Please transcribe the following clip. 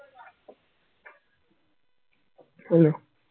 hello